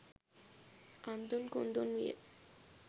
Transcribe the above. අන්දුන් කුන්දුන් විය